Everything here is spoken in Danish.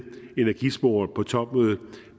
energisporet på topmødet